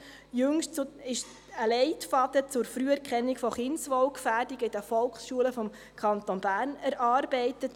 Jüngst wurde ein Leitfaden zur Früherkennung von Kindswohlgefährdung in den Volksschulen des Kantons Bern erarbeitet.